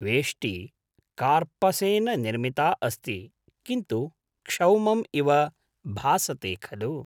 वेष्टी कार्पसेन निर्मिता अस्ति, किन्तु क्षौमम् इव भासते खलु।